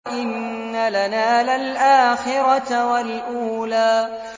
وَإِنَّ لَنَا لَلْآخِرَةَ وَالْأُولَىٰ